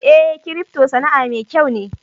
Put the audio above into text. Eh, "crypto" Sana'a mai kyau ne.